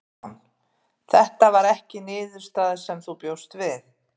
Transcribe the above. Símon: Þetta var ekki niðurstaða sem þú bjóst við?